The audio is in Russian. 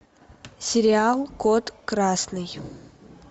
сериал код красный